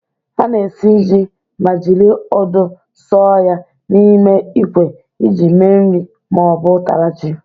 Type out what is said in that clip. A na-esi ji ma jiri odo sọọ ya n'ime ikwe iji me nri ma ọ bụ ụtara ji.